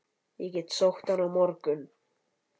Ég get sótt hann á morgun.